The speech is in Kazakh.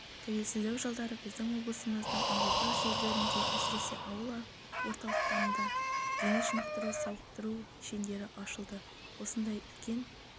тәуелсіздік жылдары біздің облысымыздың ауылдық жерлерінде әсіресе ауыл орталықтарында дене шынықтыру сауықтыру кешендері ашылды осындай үлкен